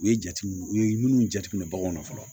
U ye jatew u ye minnu jate minɛ baganw na fɔlɔ